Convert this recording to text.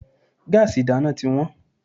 Gáàsì ìdáná tí wọ́n.